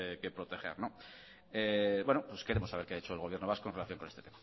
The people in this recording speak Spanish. que proteger bueno pues queremos saber qué ha hecho el gobierno vasco en relación con este